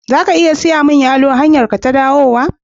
Za ka iya siya mini yalo a hanyarka ta dawowa?